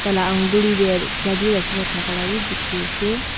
la anguli tae chabi rakhina thaka vi dekhi ase.